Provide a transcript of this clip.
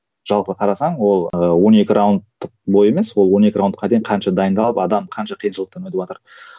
жалпы қарасаң ол ыыы он екі раундтық бой емес ол он екі раундқа дейін қанша дайындалып адам қанша қиындықшылықтан өтіватыр